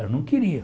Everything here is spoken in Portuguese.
Ela não queria.